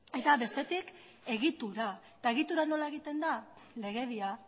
eta bestetik egitura eta egitura nola egiten da legedia